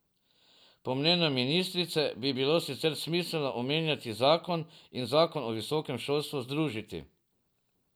Po mnenju ministrice bi bilo sicer smiselno omenjeni zakon in zakon o visokem šolstvu združiti.